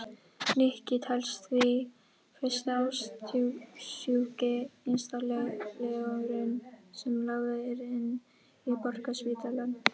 Nikki telst því fyrsti ástsjúki einstaklingurinn sem lagður er inn á Borgarspítalann.